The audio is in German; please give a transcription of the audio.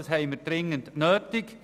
Das haben wir dringend nötig.